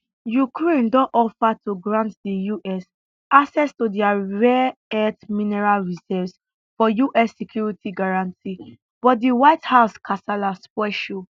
ukraine don offer to grant di us access to dia rare earth mineral reserves for us security guarantee but di white house kasala spoil show